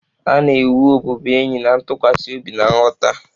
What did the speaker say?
A na-ewu ọbụbụenyi na ntụkwasị obi na nghọta.